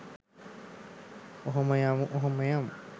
ඔහොම යමු ඔහොම යමු.